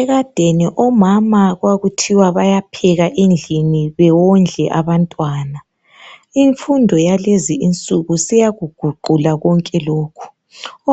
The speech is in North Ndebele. Ekadeni omama kwakuthiwa bayapheka endlini bewondle abantwana. Imfundo yalezi insuku seyakuguqula konke lokhu.